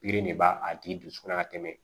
Biri de b'a a tigi dusukunna ka tɛmɛ